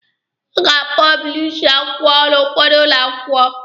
A na-apọblishi akwụkwọ n'ụfọdụ ụlọ akwụkwọ.